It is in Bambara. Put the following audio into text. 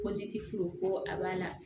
ko a b'a la